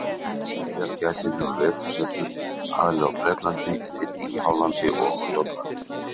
Heiðagæsin hefur vetursetu aðallega á Bretlandi en einnig í Hollandi og á Jótlandi.